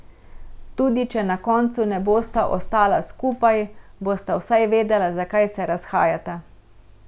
Tudi če na koncu ne bosta ostala skupaj, bosta vsaj vedela, zakaj se razhajata.